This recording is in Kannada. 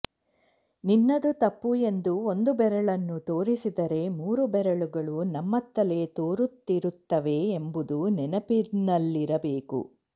ನಿನ್ನದು ತಪ್ಪು ಎಂದು ಒಂದು ಬೆರಳನ್ನು ತೋರಿಸಿದರೆ ಮೂರು ಬೆರಳುಗಳು ನಮ್ಮತ್ತಲೇ ತೋರುತ್ತಿರುತ್ತವೆ ಎಂಬುದು ನೆನಪಿನಲ್ಲಿರಬೇಕು